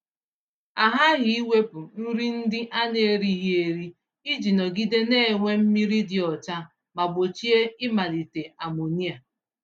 A ghaghị iwepụ nri ndị a na-erighị eri iji nọgide na-enwe mmiri dị ọcha ma gbochie ịmalite amonia.